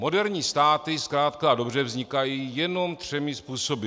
Moderní státy zkrátka a dobře vznikají jenom třemi způsoby.